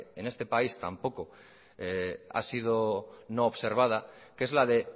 en este país tampoco ha sido no observada que es la de